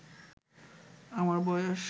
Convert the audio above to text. আমার বয়স